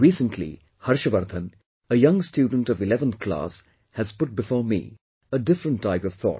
Recently, Harshvardhan, a young student of Eleventh Class has put before me a different type of thought